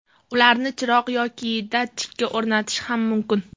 Ularni chiroq yoki datchikka o‘rnatish ham mumkin.